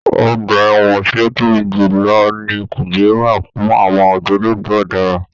Ọgbà ẹ̀wọ̀n tí ó tóbi jù lọ ní Kùjé wà fún àwọn ògbólógbò ọ̀daràn.